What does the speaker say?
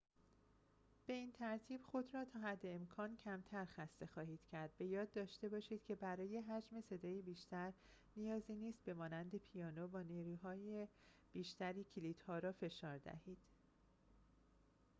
به این ترتیب خود را تا حد امکان کمتر خسته خواهید کرد به یاد داشته باشید که برای حجم صدای بیشتر نیازی نیست به مانند پیانو با نیروی بیشتری کلیدها را فشار دهید